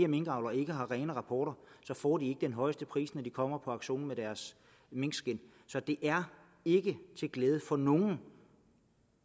minkavlere ikke har rene rapporter får de ikke den højeste pris når de kommer på auktionen med deres minkskind så det er ikke til glæde for nogen